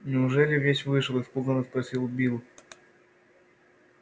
неужели весь вышел испуганно спросил билл